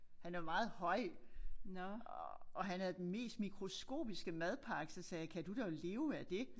Han er meget høj og og han havde den mest mikroskopiske madpakke så sagde jeg kan du dog leve af det